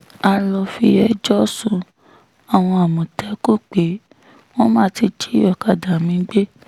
a lọ́ọ́ fi ẹjọ́ sun àwọn àmọ̀tẹ́kùn pé wọ́n má ti jí ọ̀kadà mi gbé